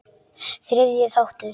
Þriðji þáttur